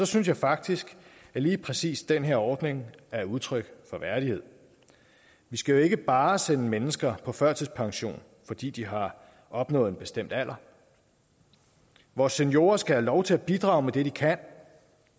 synes jeg faktisk at lige præcis den her ordning er udtryk for værdighed vi skal jo ikke bare sende mennesker på førtidspension fordi de har opnået en bestemt alder vores seniorer skal have lov til at bidrage med det de kan